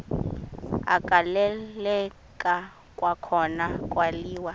agaleleka kwakhona kwaliwa